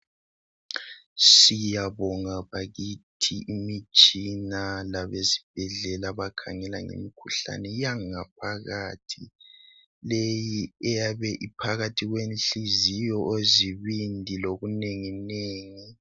Siyabonga bakithi imitshina labezibhedlela abakhangela ngemikhuhlane yangaphakathi leyi eyabe iphakathi kwenhliziyo ozibindi lokunye okunengi nengi.